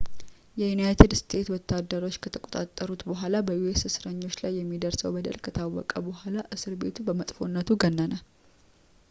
የዩናይትድ ስቴትስ ወታደሮች ከተቆጣጠሩት በኋላ በus እስረኞች ላይ የሚደርሰው በደል ከታወቀ በኋላ እስር ቤቱ በመጥፎነቱ ገነነ